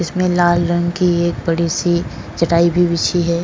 इस में लाल रंग की एक बड़ी सी चटाई भी बिछी है।